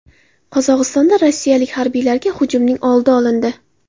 Qozog‘istonda rossiyalik harbiylarga hujumning oldi olindi.